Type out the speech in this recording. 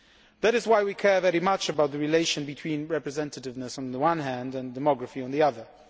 That is why we care very much about the relationship between representativeness on the one hand and demography on the other.